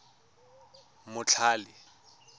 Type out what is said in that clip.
motlhale